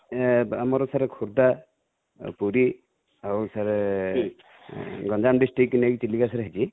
ଆମର sir ଖୋର୍ଦ୍ଧା ଆଉ ପୁରୀ ଆଉ sir ଗଞ୍ଜାମ district କୁ ନେଇ କି ଚିଲିକା sir ହେଇଚି